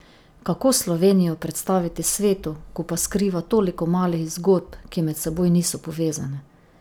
Kako Slovenijo predstaviti svetu, ko pa skriva toliko malih zgodb, ki med seboj niso povezane?